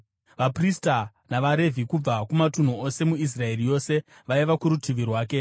Vaprista navaRevhi kubva kumatunhu ose muIsraeri yose vaiva kurutivi rwake.